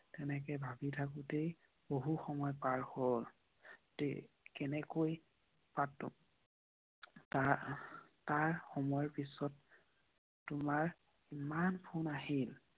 তেনেকৈ ভাবি থাকোঁতে বহু সময় পাৰ হল। তাৰ সময় পিছত ইমান ফোন আহিল।